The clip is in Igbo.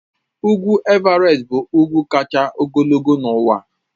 Ugwu Everest bụ ugwu kacha ogologo n'ụwa